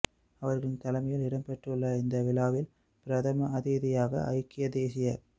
அவர்களின் தலைமையில் இடம்பெறவுள்ள இந்த விழாவில் பிரதம அதிதியாக ஐக்கிய தேசியக்